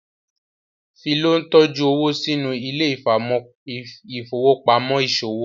Philo ntọjú owo sínú Ile-ifowopamọ iṣowo